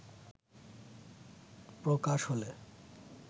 প্রকাশ হলে